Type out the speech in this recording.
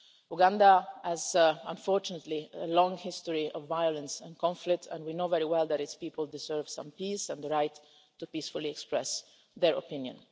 Uganda has, unfortunately, a long history of violence and conflict, and we know very well that its people deserve some peace and the right to peacefully express their opinion.